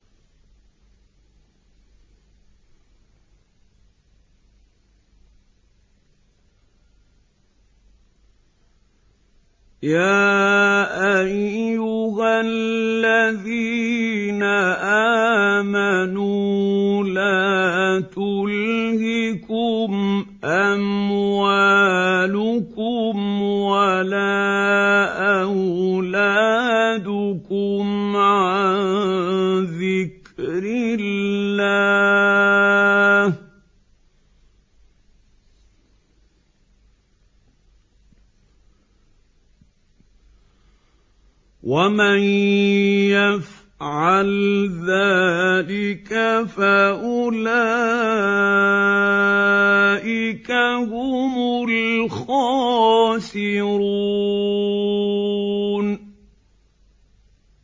يَا أَيُّهَا الَّذِينَ آمَنُوا لَا تُلْهِكُمْ أَمْوَالُكُمْ وَلَا أَوْلَادُكُمْ عَن ذِكْرِ اللَّهِ ۚ وَمَن يَفْعَلْ ذَٰلِكَ فَأُولَٰئِكَ هُمُ الْخَاسِرُونَ